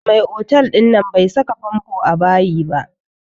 Mai otal ɗin nan bai saka famfo a bayi ba